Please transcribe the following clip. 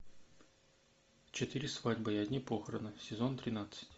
четыре свадьбы и одни похороны сезон тринадцать